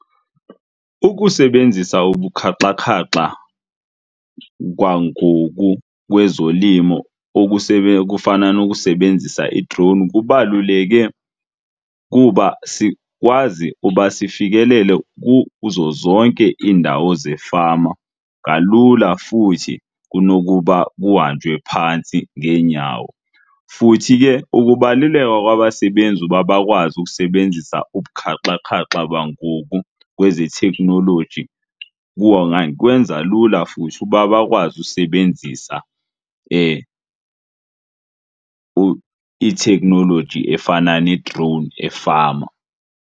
Ukusebenzisa ubukhaxakhaxa kwangoku kwezolimo okufana nokusebenzisa ii-drone kubaluleke kuba sikwazi uba sifikelele kuzo zonke iindawo zefama kalula futhi kunokuba kuhanjwe phantsi ngeenyawo. Futhi ke ukubaluleka kwabasebenzi uba bakwazi ukusebenzisa ubukhaxakhaxa bangoku kwezeteknoloji kwenza lula futhi uba bakwazi usebenzisa itheknoloji efana ne-drone efama.